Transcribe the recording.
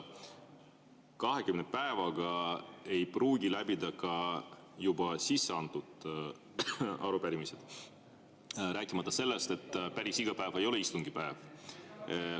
20 päevaga ei pruugi läbida ka juba sisse antud arupärimisi, rääkimata sellest, et päris iga päev ei ole istungipäev.